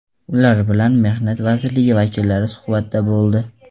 Ular bilan mehnat vazirligi vakillari suhbatda bo‘ldi.